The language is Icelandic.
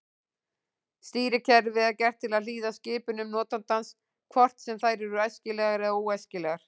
Stýrikerfið er gert til að hlýða skipunum notandans hvort sem þær eru æskilegar eða óæskilegar.